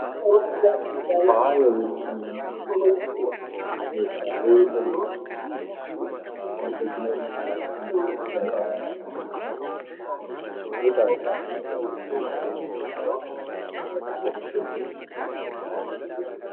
Faaya jechuun Meeshaalee miidhaginaa namni miidhagina isaa ittiin eeggachuuf isaa murteessee kan namni itti tajaajilamudha.